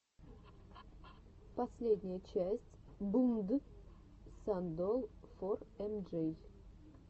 последняя часть блнд сан долл фор эм джей